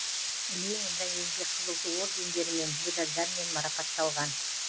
ленин және еңбек қызыл ту ордендерімен медальдармен марапатталған